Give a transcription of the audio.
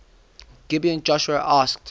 gibeon joshua asked